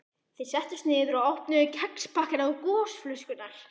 Þeir settust niður og opnuðu kexpakkana og gosflöskurnar.